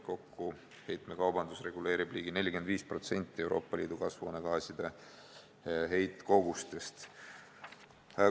Kokku reguleerib heitekaubandus ligi 45% Euroopa Liidu kasvuhoonegaaside heitkogustest.